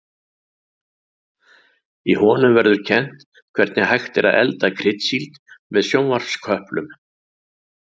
Í honum verður kennt hvernig hægt er að elda kryddsíld með sjónvarpsköplum.